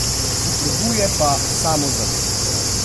Potrebuje pa samozavest.